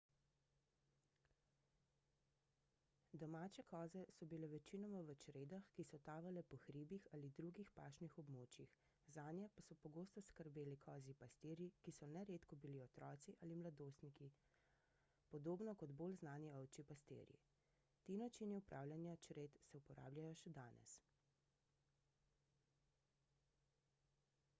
domače koze so bile večinoma v čredah ki so tavale po hribih ali drugih pašnih območjih zanje pa so pogosto skrbeli kozji pastirji ki so neredko bili otroci ali mladostniki podobno kot bolj znani ovčji pastirji ti načini upravljanja čred se uporabljajo še danes